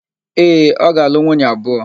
Ee, ọ ga-alụ nwunye abụọ.